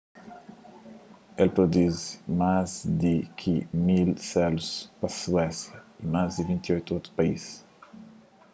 el produzi más di ki 1.000 selus pa suésia y más 28 otu país